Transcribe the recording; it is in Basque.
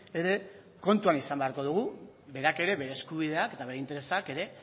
ere kontuan izan beharko dugu berak ere bere eskubideak eta bere interesak ere